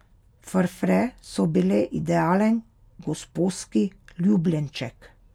Frfre so bile idealen gosposki ljubljenček.